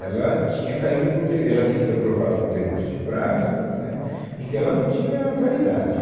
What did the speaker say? Ela tinha caído por de, ela tinha sido aprovada por decurso de prazo, né, e que ela não tinha validade.